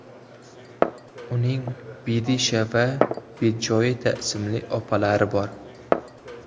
Uning Bidisha va Bidjoeta ismli opalari bor.